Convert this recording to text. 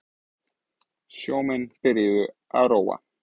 Sjómenn byrjaðir að róa